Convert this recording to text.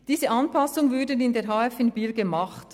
Diese Anpassungen würden in der HF in Biel gemacht.